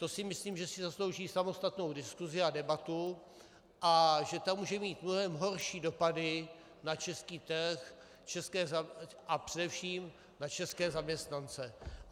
To si myslím, že si zaslouží samostatnou diskusi a debatu a že ta může mít mnohem horší dopady na český trh a především na české zaměstnance.